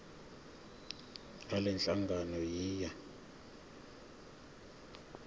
ngalenhlangano yiya kut